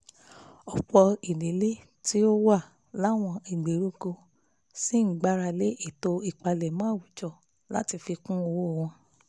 ọ̀pọ̀ ìdílé tó wà láwọn ìgbèríko ṣì ń gbára lé ètò ìpamọ́ àwùjọ láti fi kún owó wọn